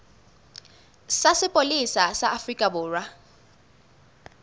sa sepolesa sa afrika borwa